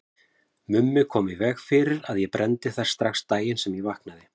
Mummi kom í veg fyrir að ég brenndi þær strax daginn sem ég vaknaði.